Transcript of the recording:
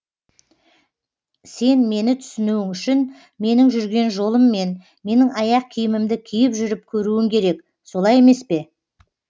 сен мені түсінуің үшін менің жүрген жолыммен менің аяқ киімімді киіп жүріп көруің керек солай емес пе